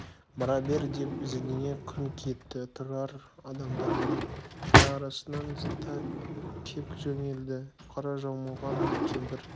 бара бер деп зілдене күңк етті тұрар адамдардың ара-арасын зыта кеп жөнелді қара жамылған бір кемпір